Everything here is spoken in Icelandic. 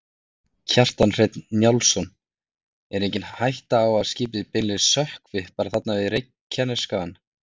Kjartan Hreinn Njálsson: Er engin hætta á að skipið beinlínis sökkvi bara þarna við Reykjanesskaga?